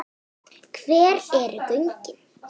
Hver eru gögnin?